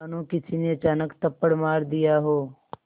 मानो किसी ने अचानक थप्पड़ मार दिया हो